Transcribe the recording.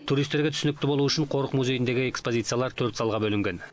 туристерге түсінікті болу үшін қорық музейіндегі экспозициялар төрт залға бөлінген